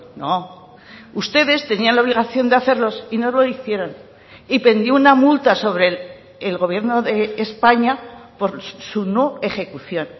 no ustedes tenían la obligación de hacerlos y no lo hicieron y pendió una multa sobre el gobierno de españa por su no ejecución